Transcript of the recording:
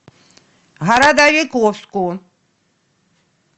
городовиковску